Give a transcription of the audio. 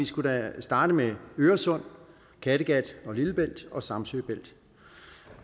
skulle starte med øresund kattegat lillebælt og samsø